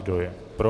Kdo je pro?